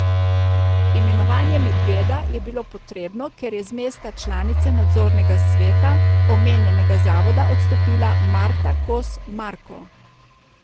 Imenovanje Medveda je bilo potrebno, ker je z mesta članice nadzornega sveta omenjenega zavoda odstopila Marta Kos Marko.